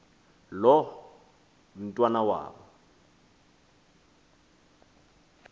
loo mntwana wabo